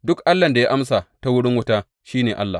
Duk allahn da ya amsa ta wurin wuta, shi ne Allah.